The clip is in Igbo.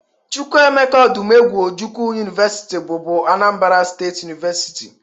Chukwuemeka Odumegwu Ojukwu University bụbu Anambra State University